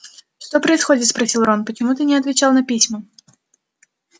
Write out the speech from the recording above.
что происходит спросил рон почему ты не отвечал на письма